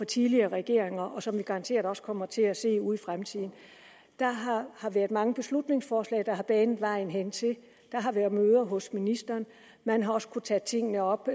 tidligere regeringer og som vi garanteret også kommer til at se ude i fremtiden der har været mange beslutningsforslag der har banet vejen hertil der har været møder hos ministeren man har også kunne tage tingene op